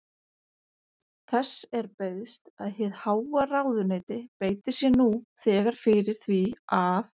Þess er beiðst, að hið háa ráðuneyti beiti sér nú þegar fyrir því, að